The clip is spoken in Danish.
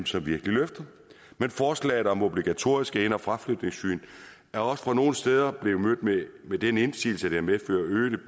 som virkelig løfter men forslaget om obligatoriske ind og fraflytningssyn er også nogle steder blevet mødt med den indsigelse at det medfører øgede